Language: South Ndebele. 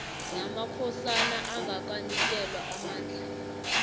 namakhosana angakanikelwa amandla